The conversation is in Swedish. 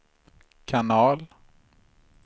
kanal